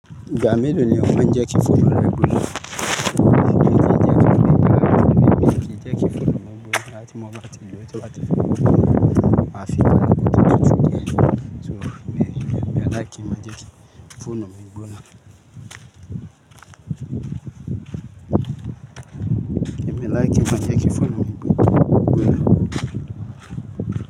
Gba melo lo ni ohun jẹ ki fun ra gbona. Emi kii jẹ ki fun ni laawin, emi kii jẹ ki fonu mi gbona lati mo wa ti mo ti wa ti fun mo. Ma fi laawin ti mo ti sin ni eti. So, emi o le ki mo jẹ ki fun mo gbona. Emi o le ki mo jẹ ki fun mo gbona.